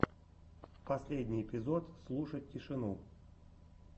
последний эпизод слушать тишину